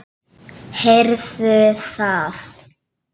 Heyrðu það!